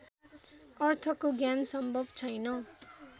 अर्थको ज्ञान सम्भव छैन